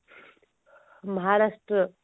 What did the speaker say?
ମହାରାଷ୍ଟ୍ରୀୟ